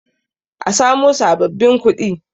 a samo sababbin kuɗin!